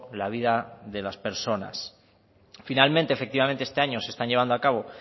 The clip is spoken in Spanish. la vida de las personas finalmente efectivamente este año se están llevando a cabo